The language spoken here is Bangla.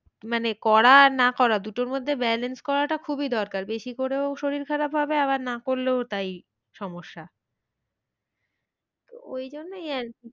মানে করা আর না করা দুটোর মধ্যে balance করাটা খুবই দরকার বেশি করেও শরীর খারাপ হবে আবার না করলেও তাই সমস্যা। ওই জন্যই আর কি,